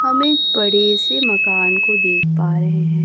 हम एक बड़े से मकान को देख पा रहे हैं।